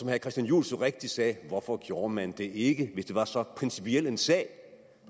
herre christian juhl så rigtigt sagde hvorfor gjorde man det ikke hvis det var så principiel en sag